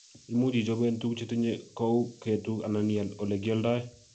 imuuchi ichoben tuguuk chetinye kou ketuk anan ial en olekialdoe